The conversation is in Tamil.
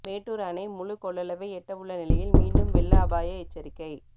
மேட்டூர் அணை முழு கொள்ளளவை எட்டவுள்ள நிலையில் மீண்டும் வெள்ள அபாய எச்சரிக்கை